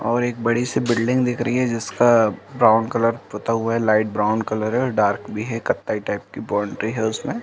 और एक बड़ी सी बिल्डिंग दिख रही हे। जिसका ब्राउन कलर पोता हुआ है लाईट ब्राउन कलर है और डार्क भी हे कथ्थई टाइप की बाउंट्री हे उसमे --